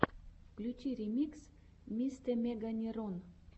включи ремикс мистэмеганерон